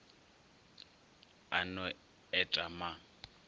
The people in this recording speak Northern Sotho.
a no et a ma